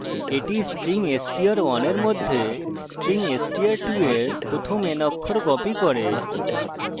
এটি string str1 এর মধ্যে string str2 এর প্রথম n অক্ষর copies করে